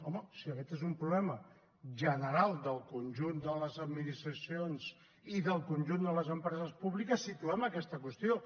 home si aquest és un problema general del conjunt de les administracions i del conjunt de les empreses públiques situem aquesta qüestió